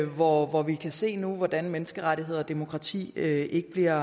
hvor hvor vi kan se hvordan menneskerettigheder og demokrati ikke bliver